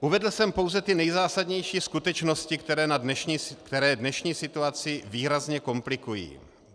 Uvedl jsem pouze ty nejzásadnější skutečnosti, které dnešní situaci výrazně komplikují.